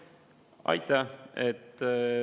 Aitäh!